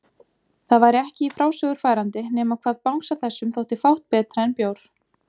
Það væri ekki í frásögur færandi nema hvað bangsa þessum þótti fátt betra en bjór!